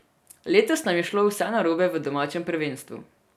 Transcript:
Letos nam je šlo vse narobe v domačem prvenstvu.